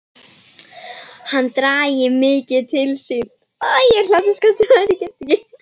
Hann dragi mikið til sín.